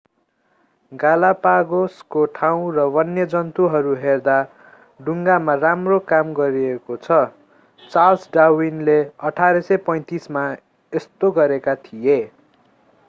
गालापागोसको ठाउँ र वन्यजन्तुहरू हेर्दा डुंगामा राम्रो काम गरिएको छ चार्ल्स डार्विनले 1835मा यस्तो गरेका थिए